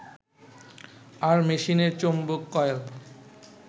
আর মেশিনের চৌম্বক কয়েল